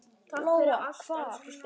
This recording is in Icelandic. Lóa: Hvar?